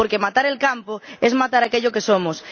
Porque matar el campo es matar aquello que somos.